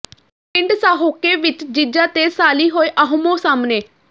ਪਿੰਡ ਸਾਹੋਕੇ ਵਿੱਚ ਜੀਜਾ ਤੇ ਸਾਲ਼ੀ ਹੋਏ ਆਹਮੋ ਸਾਹਮਣੇ